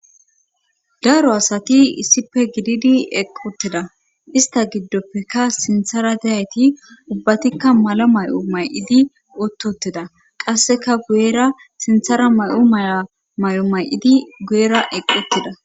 daro asati issipe gididi equtteda ista giddoppeka sinthara deyayti ubbatikka malo may7o may7idi utt utida qasseka guyera sinthara may7o may7a may7o may7idi guyera eqq utida